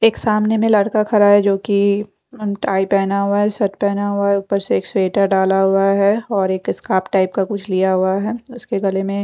एक सामने मे एक लड़का खड़ा है जोकि उनका टाइ पहना हुआ है शर्ट पहना हुआ है ऊपर से एक स्वेटर डाला हुआ है और एक स्कार्फ टाइप का कुछ लिया हुआ है उसके गले मे --